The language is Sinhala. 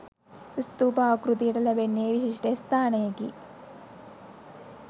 ස්ථූප ආකෘතියට ලැබෙන්නේ විශිෂ්ට ස්ථානයකි.